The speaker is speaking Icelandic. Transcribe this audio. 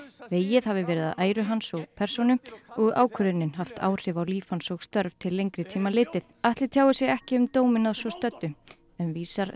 vegið hafi verið að æru hans og persónu og ákvörðunin haft áhrif á líf hans og störf til lengri tíma litið Atli tjáir sig ekki um dóminn að svo stöddu en vísar